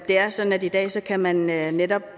er sådan at i dag kan man netop